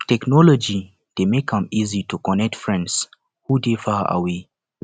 technology dey make am easy to connect friends who dey far away